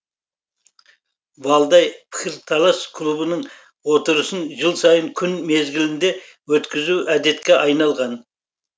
валдай пікірталас клубының отырысын жыл сайын күн мезгілінде өткізу әдетке айналған